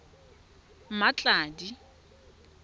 mmatladi